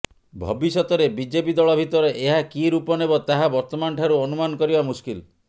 ଭବିଷ୍ୟତରେ ବିଜେପି ଦଳ ଭିତରେ ଏହା କି ରୂପ ନେବ ତାହା ବର୍ତ୍ତମାନଠାରୁ ଅନୁମାନ କରିବା ମୁସ୍କିଲ